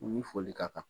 Ni foli ka kan